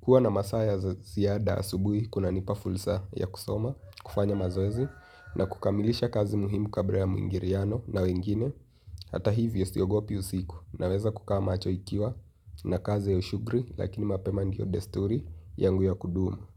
Huwa na masaa ya siyada asubuhi, kunanipa fulsa ya kusoma, kufanya mazoezi, na kukamilisha kazi muhimu kabra ya muingiriano na wengine. Hata hivyo, siogopi usiku. Naweza kukaa macho ikiwa na kazi ya ushughri, lakini mapema ndiyo desturi yangu ya kudumu.